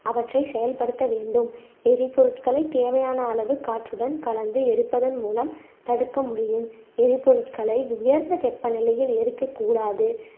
அவற்றை செயல்படுத்த வேண்டும் எரிப்பொருட்களை தேவையான அளவு காற்றுடன் கலந்து எரிப்பதன் மூலம் தடுக்க முடியும் எரிபொருட்களை உயர்ந்த வெப்ப நிலையில் எரிக்கக் கூடாது